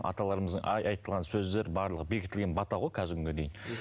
аталарымыздың айтылған сөздері барлығы бекітілген бата ғой қазіргі күнге дейін